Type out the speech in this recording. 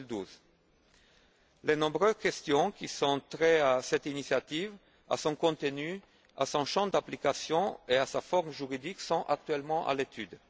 2012. Les nombreuses questions ayant trait à cette initiative, à son contenu, à son champ d'application et à sa forme juridique sont actuellement à l'étude.